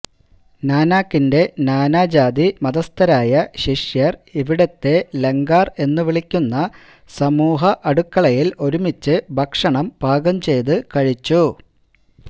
നാനാകിന്റെ നാനാജാതിമതസ്ഥരായ ശിഷ്യർ ഇവിടുത്തെ ലംഗാർ എന്നു വിളിക്കുന്ന സമൂഹഅടുക്കളയിൽ ഒരുമിച്ച് ഭക്ഷണം പാകം ചെയ്തു കഴിച്ചു